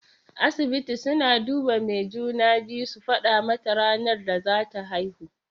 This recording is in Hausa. Asibiti suna duba mai juna-biyu su faɗa mata ranar da zata haihu.